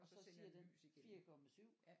Og så siger den 4 komma 7